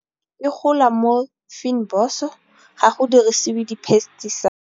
E gola mo ga go dirisiwe di .